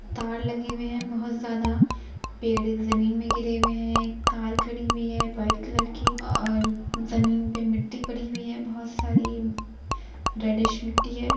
तार लगे हुए है बहोत ज्यादा पेड़ जमीन मे गिरे हुए है कार खड़ी हुई व्हाइट कलर की और जमीन पे मिट्टी पड़ी हुई है बहोत सारी रेड्डीश मिट्टी है ।